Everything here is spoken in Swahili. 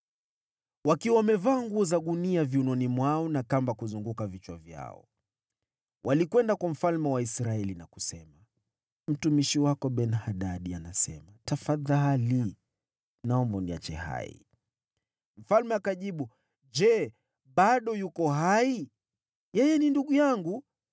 Wakiwa wamevaa nguo za gunia viunoni mwao na kamba kuzunguka vichwa vyao, walikwenda kwa mfalme wa Israeli na kusema, “Mtumishi wako Ben-Hadadi anasema: ‘Tafadhali, naomba uniache hai.’ ” Mfalme akajibu, “Je, bado yuko hai? Yeye ni ndugu yangu.”